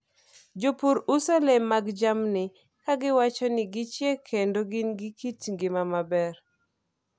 Jopur uso le mag jamni ka giwacho ni gichiek kendo gin gi kit ngima maber.